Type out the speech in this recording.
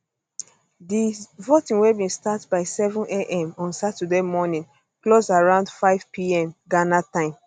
di voting wey bin start by 700 am on saturday morning close around 500pm ghana time